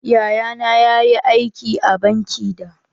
Yaya na ya yi aiki a banki da.